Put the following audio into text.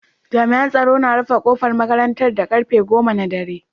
Jami'an tsaro na rufe kofar makarantar da karfe goma na dare.